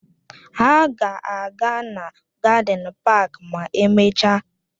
Ha ga-aga na gádịn páák ma emechaa